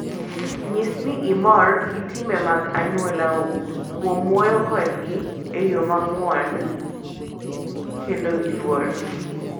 Nyis ni imor gi timbe mag anyuolau kuom wuoyo kodgi e yo mang'won kendo gi luor.